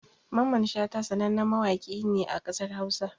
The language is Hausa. Mamman Shata sanannen mawaƙi ne a ƙasar Hausa